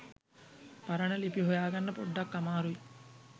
පරණ ලිපි හොයාගන්න පොඩ්ඩක් අමාරුයි.